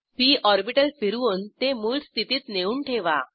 P orbital फिरवून ते मूळ स्थितीत नेऊन ठेवा